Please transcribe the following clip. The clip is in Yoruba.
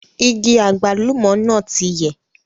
Igi àgbálùmọ́ náà ti yẹ̀